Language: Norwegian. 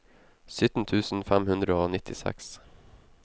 sytten tusen fem hundre og nittiseks